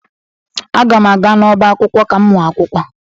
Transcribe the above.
Aga m aga n'ọbá akwụkwọ ka m mụọ akwụkwọ.